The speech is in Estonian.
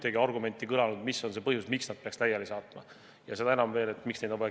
Ei ole öeldud veenvat põhjust, miks nad peaks laiali saatma, ja veel kiireloomuliselt.